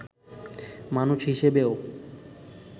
মানুষ হিসেবেও